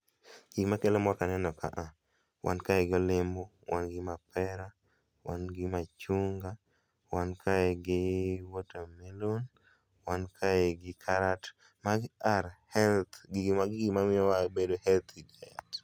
Gima kelo mor kaneno kaa, wan kae gi olemo, wan gi mapera, wan gi machunga, wan kae gi water melon, wan kae gi karat. Magi are health, gigi ,magi gima miyowa wabedo healthy e